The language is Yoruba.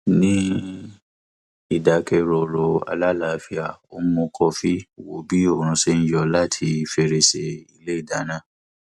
ní ìdákẹrọrọ alálàáfíà ó ń mu kọfí wo bí oòrùn ṣe ń yọ láti fèrèsé ilé ìdáná